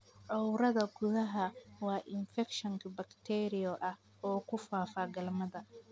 Cowrdaa kudacaa waa infakshan bakteeriyo ah oo ku faafa galmada.